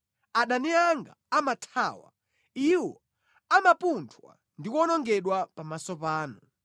Adani anga amathawa, iwo amapunthwa ndi kuwonongedwa pamaso panu.